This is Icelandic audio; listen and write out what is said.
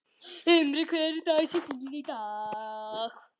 Himri, hver er dagsetningin í dag?